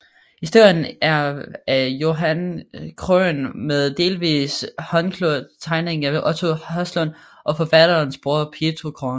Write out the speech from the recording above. Historien er af Johan Krohn med delvis håndkolorerede tegninger af Otto Haslund og forfatterens bror Pietro Krohn